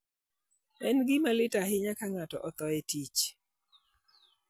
En gima lit ahinya ka ng'ato otho ka en e tich.